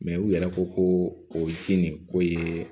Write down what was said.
u yɛrɛ ko ko o ji nin ko ye